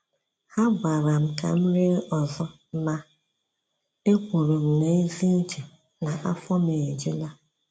Ha gwara m ka m rie ọzọ, ma e kwuru m n’ezi uche na af ọ m ejula.